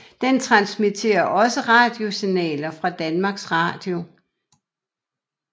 Den transmitterer også radiosignaler fra Danmarks Radio